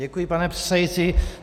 Děkuji, pane předsedající.